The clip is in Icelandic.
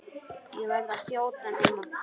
Ég verð að þjóta núna.